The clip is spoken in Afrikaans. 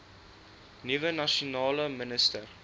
nuwe nasionale minister